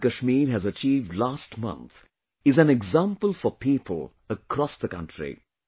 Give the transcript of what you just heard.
What Jammu and Kashmir has achieved last month is an example for people across the country